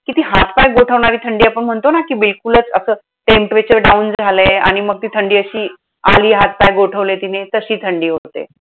कि ती हात पाय गोठवणारी थंडी आपण म्हणतो ना, कि बिलकुलंच असं temperature down झालंय आणि मग ती थंडी अशी आली, हात पाय गोठवले तिने. तशी थंडी होते.